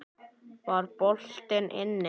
Var boltinn inni?